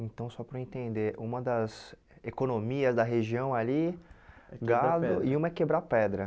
Então, só para eu entender, uma das economias da região ali, é quebrar pedra gado, e uma é quebrar pedra.